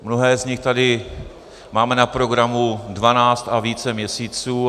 Mnohé z nich tady máme na programu dvanáct a více měsíců.